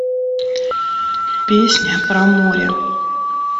песня про море